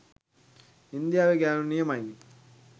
ඉන්දියාවෙ ගෑනු නියමයිනෙ